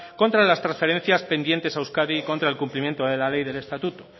contra las transferencias pendientes a euskadi contra el cumplimiento de la ley de estatuto